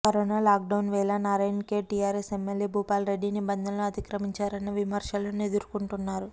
corona lockdown వేళ Narayan Khed TRS MLA Bhupal Reddy నిబంధనలు అతిక్రమించారన్న విమర్శలను ఎదుర్కొంటున్నారు